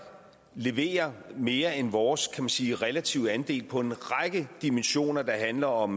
leverer mere end vores man sige relative andel på en række dimensioner der handler om